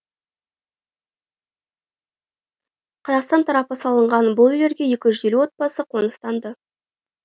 қазақстан тарапы салған бұл үйлерге екі жүз елу отбасы қоныстанды